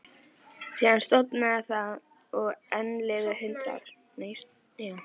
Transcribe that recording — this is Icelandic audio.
Síðan sofnaði það og enn liðu hundrað ár.